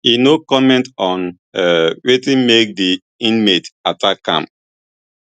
e no comment on um wetin make di inmate attack am